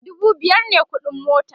dubu biyar me ƙuɗin mota